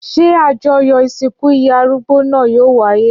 Ṣé àjọyọ̀ ìsìnkú ìyá arúgbó náà yóò wáyé?